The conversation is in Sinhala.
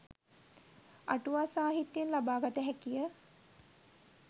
අටුවා සාහිත්‍යයෙන් ලබා ගත හැකිය.